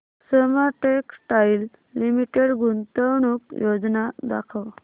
Soma textile limited गुंतवणूक योजना दाखव